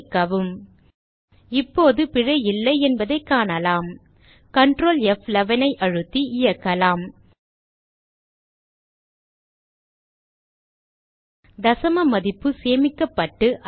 சேமிக்கவும் இப்போது பிழை இல்லை என்பதைக் காணலாம் கன்ட்ரோல் F11 ஐ அழுத்தி இயக்கலாம் தசம மதிப்பு சேமிக்கப்பட்டு